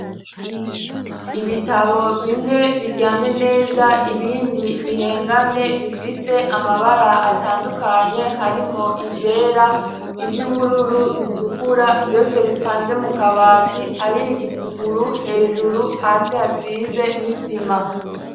Ibitabo bimwe biryamye neza ibindi bihengamye bifise amabara atandukanye hari mwo ivyera ivyo ubururu bitukura vyose bipanze mu kabati hariyo igipuguru hejuru hasi hasize n'isima.